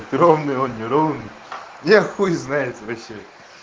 ровный он не ровный я хуй знает вообще